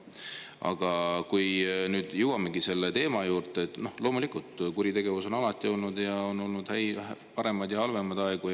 Aga nüüd me jõuamegi selle teema juurde, et loomulikult, kuritegevust on alati olnud, on olnud paremaid ja halvemaid aegu.